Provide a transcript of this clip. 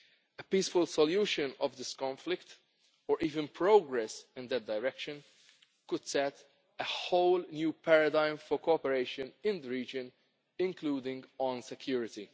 fragile. A peaceful solution to this conflict, or even progress in that direction, could set a whole new paradigm for cooperation in the region, including on security.